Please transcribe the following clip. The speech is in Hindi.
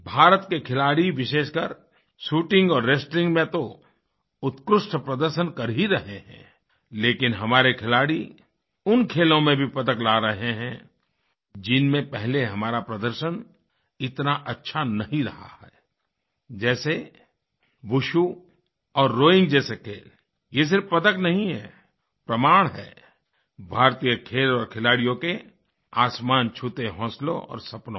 भारत के खिलाड़ी विशेषकर शूटिंग और रेस्टलिंग में तो उत्कृष्ट प्रदर्शन कर ही रहे हैं लेकिन हमारे खिलाड़ी उन खेलों में भी पदक ला रहे हैं जिनमें पहले हमारा प्रदर्शन इतना अच्छा नहीं रहा है जैसे वुशु और रोइंग जैसे खेल ये सिर्फ़ पदक नहीं हैं प्रमाण हैं भारतीय खेल और खिलाड़ियों के आसमान छूते हौसलों और सपनों का